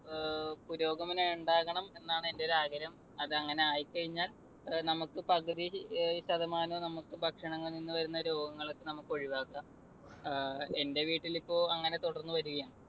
ഏർ പുരോഗമനം ഉണ്ടാകണം എന്നാണ് എന്റെയൊരു ആഗ്രഹം. അത് അങ്ങനെയായി കഴിഞ്ഞാൽ നമുക്ക് പകുതി ശതമാനവും നമുക്ക് ഭക്ഷണത്തിൽനിന്നു വരുന്ന രോഗങ്ങളൊക്കെ നമുക്ക് ഒഴിവാക്കാം. ഏർ എന്റെ വീട്ടിലിപ്പോൾ അങ്ങനെ തുടർന്ന് വരികയാണ്.